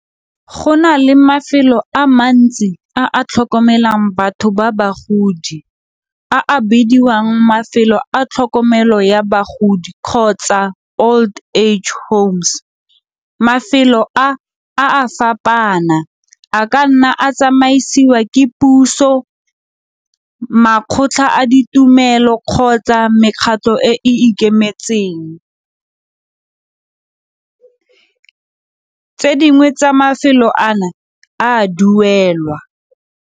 Go na le mafelo a mantsi a a tlhokomelang batho ba bagodi a a bidiwang mafelo a tlhokomelo ya bagodi kgotsa old age homes. Mafelo a, a a fapaana a ka nna a tsamaisiwa ke puso, makgotla a ditumelo kgotsa mekgatlho e e ikemetseng, tse dingwe tsa mafelo ana a duelwa.